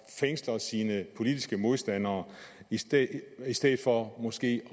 fængsler sine politiske modstandere i stedet i stedet for måske